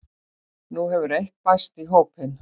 Nú hefur eitt bæst í hópinn